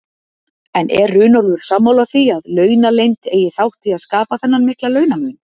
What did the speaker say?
En er Runólfur sammála því að launaleynd eigi þátt í að skapa þennan mikla launamun?